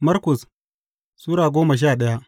Markus Sura goma sha daya